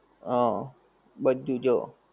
હા બધું જો